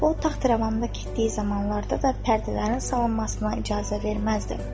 O taxt-rəvanında getdiyi zamanlarda da pərdələrin salınmasına icazə verməzdi.